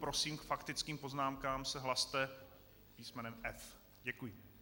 Prosím, k faktickým poznámkám se hlaste písmenem F. Děkuji.